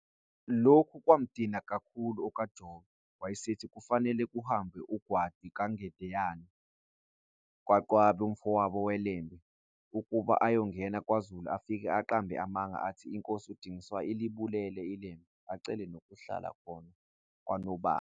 Lokhu kwamdina kakhulu okaJobe, wayesethi kufanele kuhambe uNgwadi kaGendeyana Qwabe umfowabo weLembe, ukuba ayongena kwaZulu afike aqambe amanga athi, iNkosi uDingiswayo ilibulele iLembe, acele nokuhlala khona kwaNobamba.